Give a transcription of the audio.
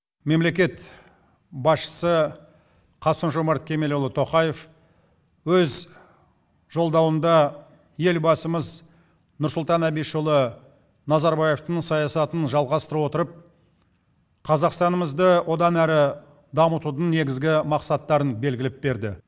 мемлекет басшысы қасым жомарт кемелұлы тоқаев өз жолдауында елбасымыз нұрсұлтан әбішұлы назарбаевтың саясатын жалғастыра отырып қазақстанымызды одан әрі дамытудың негізгі мақсаттарын белгілеп берді